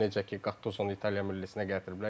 Necə ki, Qattuzo İtaliya millisinə gətiriblər.